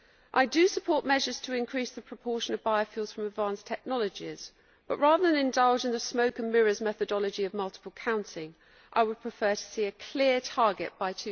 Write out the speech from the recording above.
I do support measures to increase the proportion of biofuels from advanced technologies but, rather than indulge in the smoke and mirrors methodology of multiple counting, I would prefer to see a clear target by